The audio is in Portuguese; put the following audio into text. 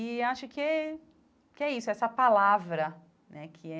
E acho que que é isso, essa palavra, né, que é